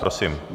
Prosím.